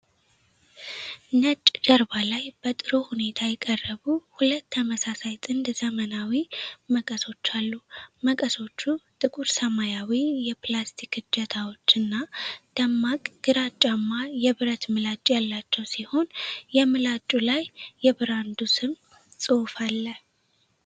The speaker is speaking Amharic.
ነጭ ጀርባ ላይ በጥሩ ሁኔታ የቀረቡ ሁለት ተመሳሳይ ጥንድ ዘመናዊ መቀሶች አሉ። መቀሶቹ ጥቁር-ሰማያዊ የፕላስቲክ እጀታዎች እና ደማቅ ግራጫማ የብረት ምላጭ ያላቸው ሲሆን፣ የምላጩ ላይ የብራንዱ ስም ጽሑፍ አለ።